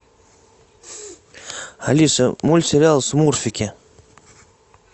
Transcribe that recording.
алиса мультсериал смурфики